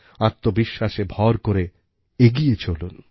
আত্মবিশ্বাসে ভর করে এগিয়ে চলুন